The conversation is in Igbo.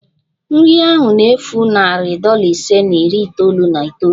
Nri ahụ na-efu narị dollar ise na iri itoolu na itoolu